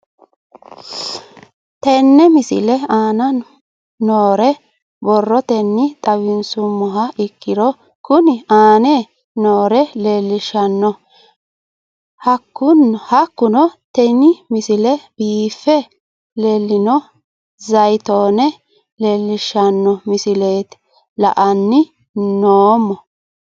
Tenne misile aana noore borrotenni xawisummoha ikirro kunni aane noore leelishano. Hakunno tinni misile biife le'inno zaayitoone leelishshano misile la'anni noomo.